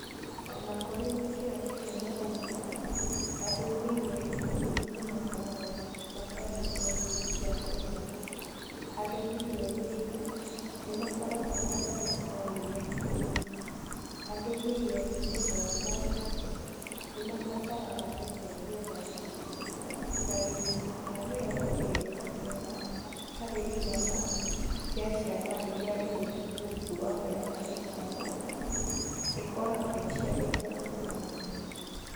O na kũrĩ na kĩyo kĩnene ũguo, andũ mirioni ikũmi nĩ makoragwo matarĩ na irio cia kũigana, andũ mirioni inya nĩ makoragwo matarĩ na irio biũ, andũ milioni ĩmwe na nuthu nĩ mabataraga ũteithio wa irio, na gĩcunjĩ kĩa mĩrongo ĩrĩ na kenda harĩ igana kĩa ciana iria irĩ rungu rwa mĩaka ĩtano ikoragwociagĩte gũkũra wega.